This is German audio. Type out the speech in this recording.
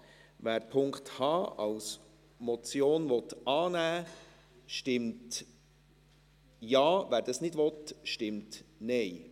Wer diesen als Motion annehmen will, stimmt Ja, wer das nicht will, stimmt Nein.